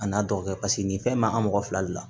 A n'a dɔgɔkɛ paseke nin fɛn bɛ an mɔgɔ fila de la